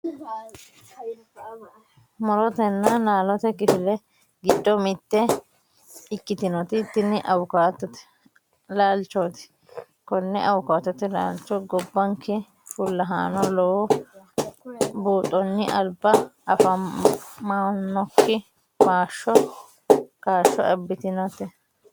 Mu'rotenna laalote kifile giddo mitte ikkitinoti tini awukaatote laalchooti. Konne aawukaatote laalcho gobbanke fullahaano lowo buuxonni alba afamannokki kaashsho abbitinoho.